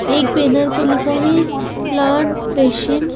एक बैनर पे लिखा है प्लांट फैशन ।